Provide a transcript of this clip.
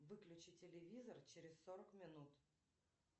выключи телевизор через сорок минут